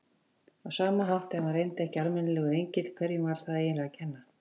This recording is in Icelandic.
Á sama hátt, ef hann reyndist ekki almennilegur engill, hverjum var það eiginlega að kenna?